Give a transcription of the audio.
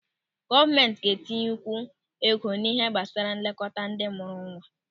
Gọọmenti ga-etinyekwu ego n'ihe gbasara nlekọta ndị mụrụ nwa.